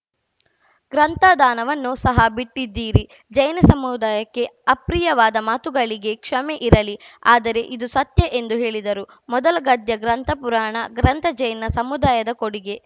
ಗ್ರಂಥ ದಾನವನ್ನೂ ಸಹ ಬಿಟ್ಟಿದ್ದೀರಿ ಜೈನ ಸಮುದಾಯಕ್ಕೆ ಅಪ್ರಿಯವಾದ ಮಾತುಗಳಿಗೆ ಕ್ಷಮೆ ಇರಲಿ ಆದರೆ ಇದು ಸತ್ಯ ಎಂದು ಹೇಳಿದರು ಮೊದಲ ಗದ್ಯ ಗ್ರಂಥ ಪುರಾಣ ಗ್ರಂಥ ಜೈನ ಸಮುದಾಯದ ಕೊಡುಗೆ